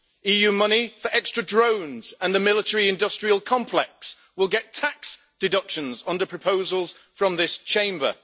EU money for extra drones and the military industrial complex will get tax deductions under proposals from this Chamber.